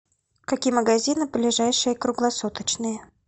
какие магазины ближайшие круглосуточные